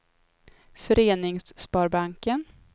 FöreningsSparbanken